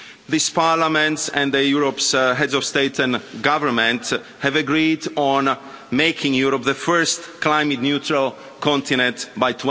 This Parliament and Europe's heads of state and government have agreed on making Europe the first climate neutral continent by